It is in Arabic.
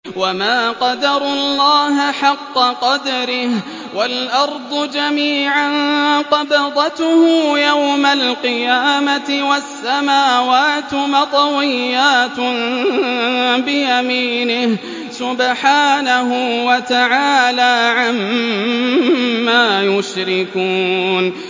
وَمَا قَدَرُوا اللَّهَ حَقَّ قَدْرِهِ وَالْأَرْضُ جَمِيعًا قَبْضَتُهُ يَوْمَ الْقِيَامَةِ وَالسَّمَاوَاتُ مَطْوِيَّاتٌ بِيَمِينِهِ ۚ سُبْحَانَهُ وَتَعَالَىٰ عَمَّا يُشْرِكُونَ